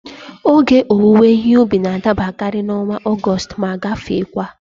Ógè owuwe ihe ubi n'adabakari n'ọnwa Ọgọstụ ma gafekwaa